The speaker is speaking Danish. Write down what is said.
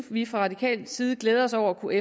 vi fra radikal side glæder os over at kunne